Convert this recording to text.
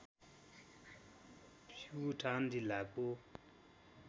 प्युठान जिल्लाको